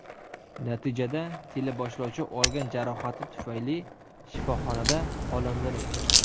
Natijada teleboshlovchi olgan jarohati tufayli shifoxonada olamdan o‘tgan.